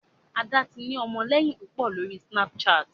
Ada tí ni ọmọléyìn púpọ lórí Snapchat